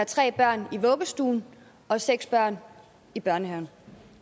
tre børn i vuggestuen og seks børn i børnehaven